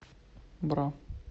бра